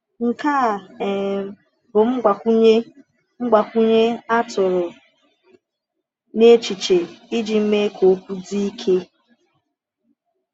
Nke a um bụ mgbakwunye mgbakwunye a tụrụ n’echiche iji mee ka okwu dị ike.